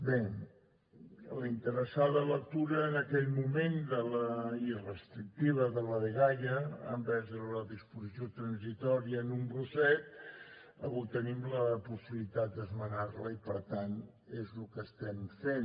bé la interessada lectura en aquell moment i restrictiva de la dgaia envers la disposició transitòria número set avui tenim la possibilitat d’esmenar la i per tant és el que estem fent